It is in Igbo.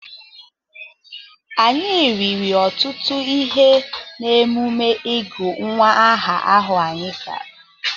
Anyị riri ọtụtụ ihe n’emume ịgụ nwa aha ahụ anyị gara.